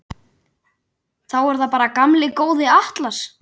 Þá er það bara gamli góði Atlas.